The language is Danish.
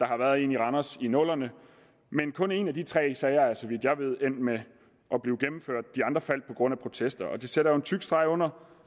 har været en i randers i nullerne men kun en af de tre sager er så vidt jeg ved endt med at blive gennemført de andre faldt på grund af protester og det sætter jo en tyk streg under